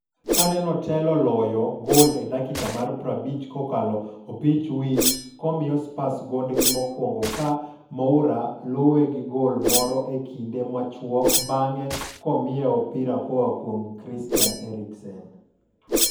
Kanenotelo loyo gol e dakika mar 50 kokalo opich wich komiyo Spurs gondgi mokwongo ka Moura oluwe gi gol moro e kinde machuok bang'e komiye opira koa kuom Christian Eriksen.